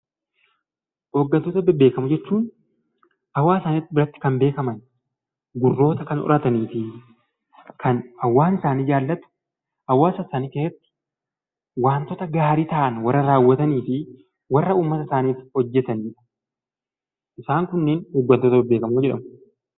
Hooggantoota bebbeekamoo jechuun hawaasa isaanii biratti kan beekaman gurroota kan horataniifi kan hawaasni isaanii jaalatu hawaasa isaanii keessatti wantoota gaarii ta'an warra raawwataniifi warra uummata isaaniif hojjatanidha. Isaan kun hooggantoota bebbeekamoo jedhamu.